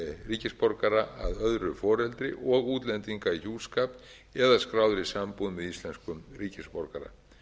ríkisborgara að öðru foreldri og útlendinga í hjúskap eða skráðir eru í sambúð með íslenskum ríkisborgara